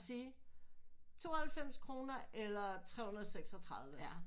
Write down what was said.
Sige 92 kroner eller 336